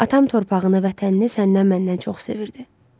Atam torpağını, vətənini səndən-məndən çox sevirdi.